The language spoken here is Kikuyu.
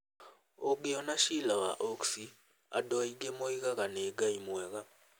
Ũngĩona Sheela wa Oaksey, andũ aingĩ moigaga nĩ ngai mwega.'